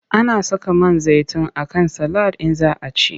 Ana saka man zaitin a kan salad in za a ci.